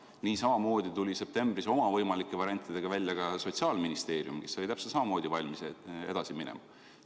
Ja niisamuti tuli septembris oma võimalike variantidega välja Sotsiaalministeerium, kes oli täpselt samamoodi valmis edasi minema.